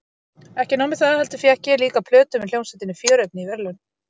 Ekki nóg með það heldur fékk ég líka plötu með hljómsveitinni Fjörefni í verðlaun.